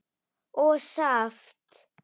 og saft.